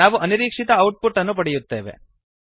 ನಾವು ಅನಿರೀಕ್ಷಿತ output ಅನ್ನು ಪಡೆಯುತ್ತೇವೆ